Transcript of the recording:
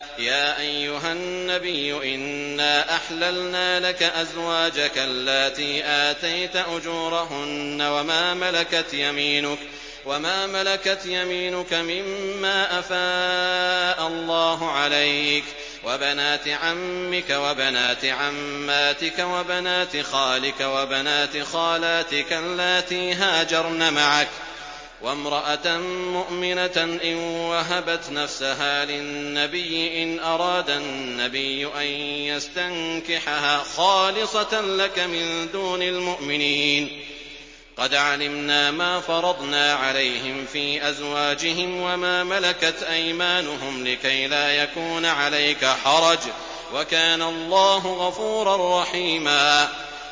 يَا أَيُّهَا النَّبِيُّ إِنَّا أَحْلَلْنَا لَكَ أَزْوَاجَكَ اللَّاتِي آتَيْتَ أُجُورَهُنَّ وَمَا مَلَكَتْ يَمِينُكَ مِمَّا أَفَاءَ اللَّهُ عَلَيْكَ وَبَنَاتِ عَمِّكَ وَبَنَاتِ عَمَّاتِكَ وَبَنَاتِ خَالِكَ وَبَنَاتِ خَالَاتِكَ اللَّاتِي هَاجَرْنَ مَعَكَ وَامْرَأَةً مُّؤْمِنَةً إِن وَهَبَتْ نَفْسَهَا لِلنَّبِيِّ إِنْ أَرَادَ النَّبِيُّ أَن يَسْتَنكِحَهَا خَالِصَةً لَّكَ مِن دُونِ الْمُؤْمِنِينَ ۗ قَدْ عَلِمْنَا مَا فَرَضْنَا عَلَيْهِمْ فِي أَزْوَاجِهِمْ وَمَا مَلَكَتْ أَيْمَانُهُمْ لِكَيْلَا يَكُونَ عَلَيْكَ حَرَجٌ ۗ وَكَانَ اللَّهُ غَفُورًا رَّحِيمًا